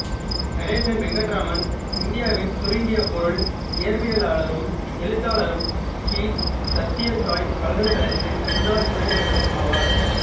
கணேசன் வெங்கடராமன் இந்தியாவின் சுருங்கிய பொருள் இயற்பியலாளரும் எழுத்தாளரும் ஸ்ரீ சத்ய சாய் பல்கலைக்கழகத்தின் முன்னாள் துணைவேந்தரும் ஆவார்